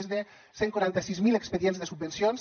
més de cent i quaranta sis mil expedients de subvencions